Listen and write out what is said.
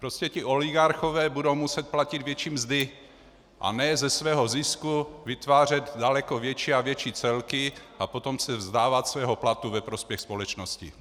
Prostě ti oligarchové budou muset platit větší mzdy, a ne ze svého zisku vytvářet daleko větší a větší celky a potom se vzdávat svého platu ve prospěch společnosti.